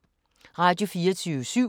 Radio24syv